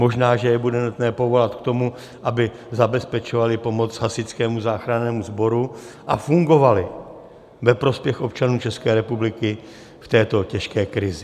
Možná, že je bude nutné povolat k tomu, aby zabezpečovali pomoc Hasičskému záchrannému sboru a fungovali ve prospěch občanů České republiky v této těžké krizi.